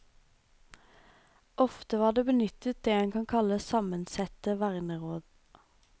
Ofte var det benyttet det en kan kalle sammensette verneråd.